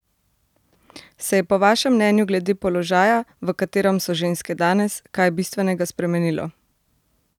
Se je po vašem mnenju glede položaja, v katerem so ženske danes, kaj bistvenega spremenilo?